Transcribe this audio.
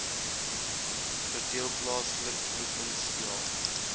verdeel plaaslik provinsiaal